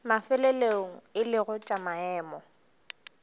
mafelelong e lego tša maemo